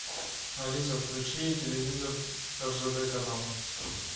алиса включи телевизор ржд канал